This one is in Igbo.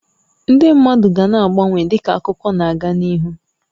Ndị mmadụ ga na-agbanwe dịka akụkọ na aga n'ihu